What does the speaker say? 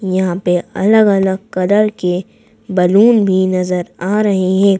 यहां पे अलग-अलग कलर के बलून भी नजर आ रहे हैं।